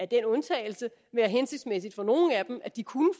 den undtagelse være hensigtsmæssigt for nogle af dem at de kunne